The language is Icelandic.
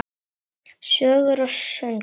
Sögur og söngur.